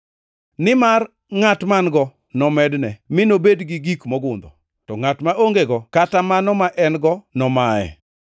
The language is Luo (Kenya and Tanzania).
Nimar ngʼat man-go nomedne mi nobed gi gik mogundho; to ngʼat ma ongego kata mano ma en-go nomaye.